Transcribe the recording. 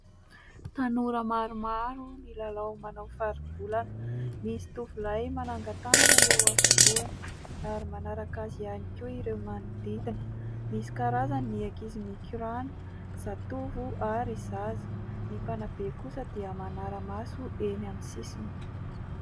Tanora maromaro milalao manao faribolana, misy tovolahy manangan-tanana eo afovoany ary manaraka azy ihany koa ireo manodidina. Misy karazany ny ankizy mikorana zatovo ary zaza, ny mpanabe kosa dia manara-maso eny amin'ny sisiny.